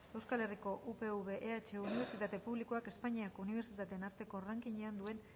upv ehu unibertsitate publikoak espainiako unibertsitateen arteko rankingean duen